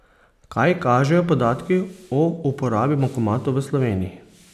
Kaj kažejo podatki o uporabi bankomatov v Sloveniji?